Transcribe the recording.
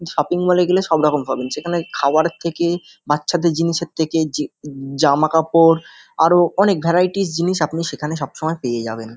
Shopping mall এ গেলে সবরকম পাবেন সেখানে খাবারের থেকে বাচ্ছাদের জি-জিনিসের থেকে জামাকাপড় আরও অনেক ভ্যারাইটিস জিনিস আপনি সবসময় সেখানে পায়ে যাবেন।